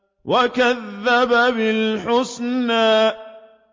وَكَذَّبَ بِالْحُسْنَىٰ